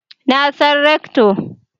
Na san Rector